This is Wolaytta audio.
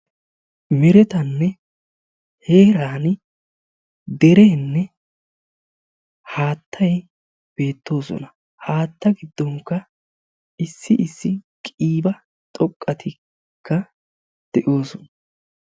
Merettaanne heerani dereenne haattay beettoosona. haattaa giddonkka issi issi qiiba xoqqatikka de'oosona.